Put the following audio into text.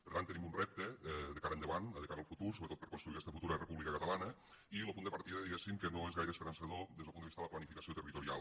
per tant tenim un repte de cara endavant de cara al futur sobretot per construir aquesta futura república catalana i lo punt de partida diguéssim que no és gaire esperançador des del punt de vista de la planificació territorial